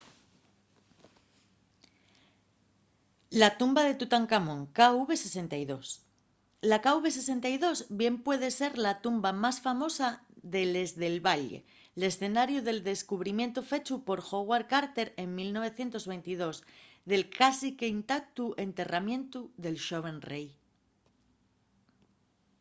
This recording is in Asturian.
la tumba de tutancamón kv62. la kv62 bien puede ser la tumba más famosa de les del valle l’escenariu del descubrimientu fechu por howard carter en 1922 del cásique intactu enterramientu del xoven rei